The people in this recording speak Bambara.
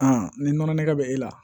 ni nɔnɔ nɛgɛn bɛ e la